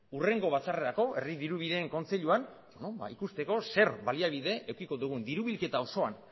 hurrengo batzarrerako herri dirubideen kontseiluan ikusteko zer baliabide edukiko dugun diru bilketa osoan